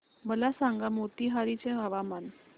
मला सांगा मोतीहारी चे हवामान